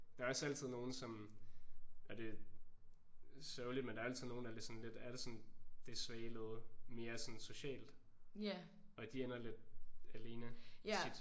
Der er også altid nogen som og det er sørgeligt men der er altid nogen der er lidt sådan lidt er det sådan det svage led mere sådan socialt og de ender lidt alene tit